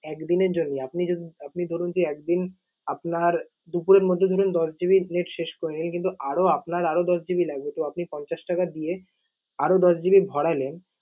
এক দিনের জন্য। আপনি যদি আপনি ধরুন যে একদিন আপনার দুপুরের মধ্যে ধরুন দশ GB net শেষ করেনি কিন্তু আরও আপনার আরও দশ GB লাগবে, তো আপনি পঞ্চাশ টাকা দিয়ে আরও দশ GB ভরালেন